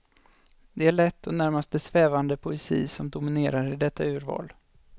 Det är en lätt och närmast svävande poesi som dominerar i detta urval.